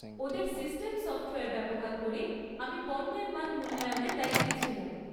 ওদের system software ব্যবহার করে আমি পণ্যের মান মূল্যায়নের দায়িত্বে ছিলাম।